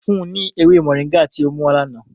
Fun un ni ewe mọringá ti o muwa lana!